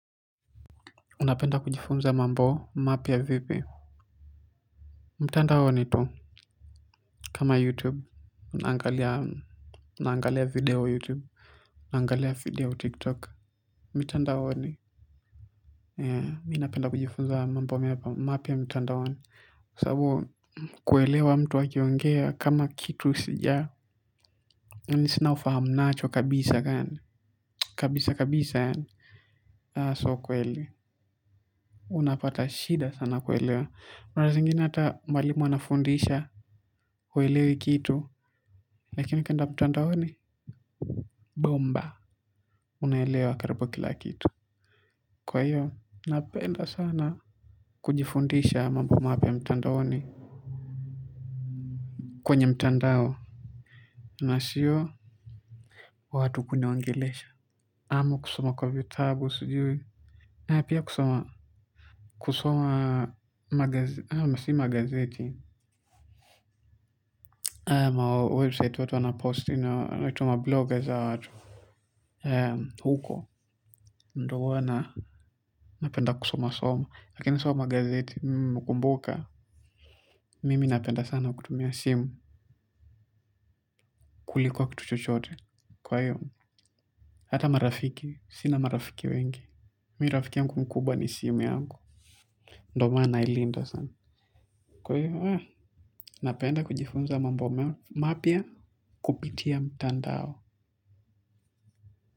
Unapenda kujifunza mambo mapya vipi. Mtandaoni tu kama youtube. Unaangalia video youtube unaangalia video tiktok. Mtandaoni. Mimi napenda kujifunza mambo mapya mtandaoni kwa sababu kuelewa mtu akiongea kama kitu sija nisio na ufahamu nacho kabisa kabisa kabisa yaani sio ukweli. Unapata shida sana kuelewa muda zingine hata mwalimu anafundisha huelewi kitu lakini ukienda mtandaoni Bomba. Unaelewa karibu kila kitu kwa hiyo napenda sana. Kujifundisha mambo mapya mtandaoni. Kwenye mtandao na sio watu kuniongelesha ama kusoma kwa vitabu sijui na pia kusoma kusoma magazi si magazeti mawebsite watu wanaposti na wanaitwa mabloggers hawa watu. Eee, huko, ndiyo huwa na, napenda kusoma soma, lakini sio magazeti, mimi nimekumbuka, mimi napenda sana kutumia simu kuliko kitu chochote, kwa hiyo, hata marafiki, sina marafiki wengi, mimi rafiki yangu mkubwa ni simu yangu, ndiyo maana nailinda sana, kwa hiyo, eh, napenda kujifunza mambo mapya kupitia mtandao.